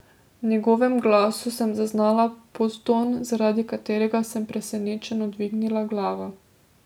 V njegovem glasu sem zaznala podton, zaradi katerega sem presenečeno dvignila glavo.